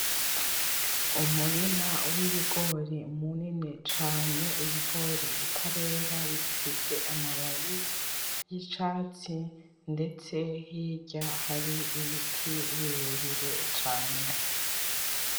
Umurima w'ibigori munini cane, ibigori bitarera, bigifise amababi y'icatsi ndetse hirya hari ibiti birebire cane.